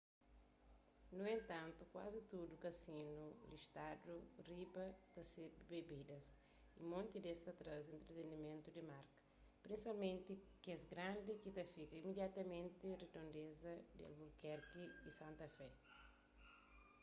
nu entantu kuazi tudu kazinu listadu di riba ta sirbi bebidas y monti des ta traze entretenimentu di marka prinsipalmenti kes grandi ki ta fika imidiatamenti ridondeza di albukerki y santa fé